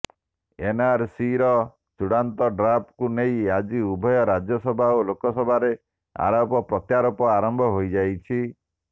ଏନଆରସିର ଚୂଡ଼ାନ୍ତ ଡ୍ରାଫ୍ଟକୁ ନେଇ ଆଜି ଉଭୟ ରାଜ୍ୟସଭା ଓ ଲୋକସଭାରେ ଆରୋପ ପ୍ରତ୍ୟାରୋପ ଆରମ୍ଭ ହୋଇଯାଇଛି